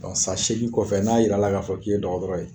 san seegin kɔfɛ n'a yira la k'a fɔ k'i ye dɔgɔtɔrɔ ye